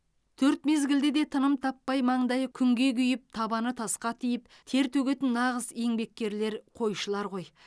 төрт мезгілде де тыным таппай маңдайы күнге күйіп табаны тасқа тиіп тер төгетін нағыз еңбеккерлер қойшылар ғой